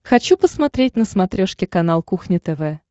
хочу посмотреть на смотрешке канал кухня тв